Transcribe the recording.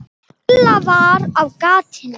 Lilla var á gatinu.